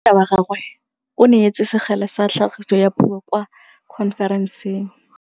Monna wa gagwe o neetswe sekgele sa tlhagisô ya puo kwa khonferenseng.